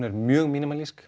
er mjög